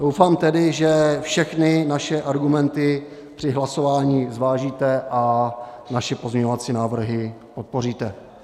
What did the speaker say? Doufám tedy, že všechny naše argumenty při hlasování zvážíte a naše pozměňovací návrhy podpoříte.